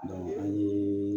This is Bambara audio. an ye